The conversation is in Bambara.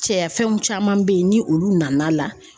Cɛya fɛnw caman be yen ni olu nana